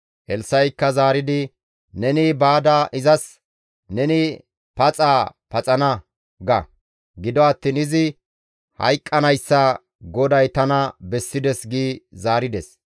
Elssa7ikka zaaridi, «Neni baada izas, ‹Neni paxaa paxana› ga. Gido attiin izi hayqqanayssa GODAY tana bessides» gi zaarides.